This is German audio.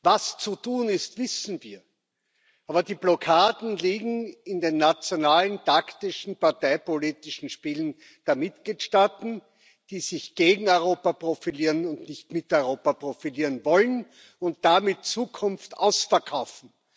Was zu tun ist, wissen wir, aber die Blockaden liegen in den nationalen, taktischen, parteipolitischen Spielen der Mitgliedstaaten, die sich gegen Europa profilieren und nicht mit Europa profitieren wollen und damit Zukunft ausverkaufen.